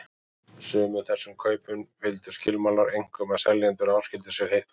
Sumum þessum kaupum fylgdu skilmálar, einkum að seljendur áskildu sér heitt vatn.